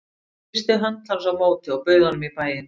Ég þrýsti hönd hans á móti og bauð honum í bæinn.